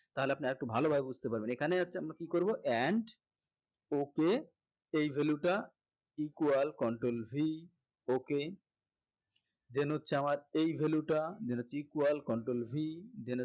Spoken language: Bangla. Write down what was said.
তাহলে আপনি আরেকটু ভালো ভাবে বুঝতে পারবেন এখানে হচ্ছে আমরা কি করবো and okay এই value টা equal control V okay then হচ্ছে আমার এই value টা then হচ্ছে equal control V then হচ্ছে